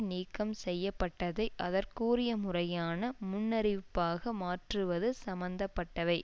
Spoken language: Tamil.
நீக்கம் செய்ய பட்டதை அதற்குரிய முறையான முன்னறிவிப்பாக மாற்றுவது சம்மந்தப்பட்டவை